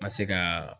N ka se ka